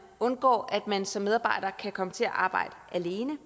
undgår at man som medarbejder kan komme til at arbejde alene